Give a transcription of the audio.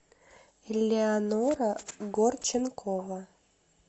элеонора горченкова